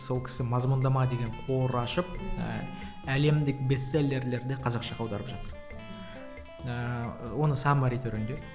сол кісі мазмұндама деген қор ашып ііі әлемдік бестселлерлерді қазақшаға аударып жатыр ыыы оны саммари түрінде